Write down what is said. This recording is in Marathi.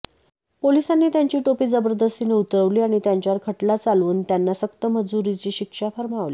पोलिसांनी त्यांची टोपी जबरदस्तीने उतरवली आणि त्यांच्यावर खटला चालवून त्यांना सक्तमजुरीची शिक्षा फर्मावली